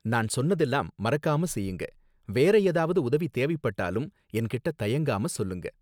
நான் சொன்னதெல்லாம் மறக்காம செய்யுங்க, வேற ஏதாவது உதவி தேவைப்பட்டாலும் என்கிட்ட தயங்காம சொல்லுங்க